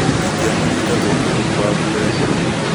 Ndingĩamũnyita tũngĩehumba nguo ĩmwe